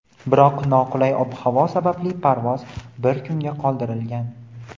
biroq noqulay ob-havo sababli parvoz bir kunga qoldirilgan.